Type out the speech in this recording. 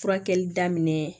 Furakɛli daminɛ